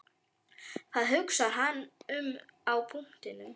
Hvað hugsar hann um á punktinum?